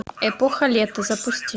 эпоха лета запусти